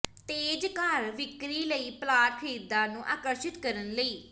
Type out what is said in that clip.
ਤੇਜ਼ ਘਰ ਵਿਕਰੀ ਲਈ ਪਲਾਟ ਖਰੀਦਦਾਰ ਨੂੰ ਆਕਰਸ਼ਿਤ ਕਰਨ ਲਈ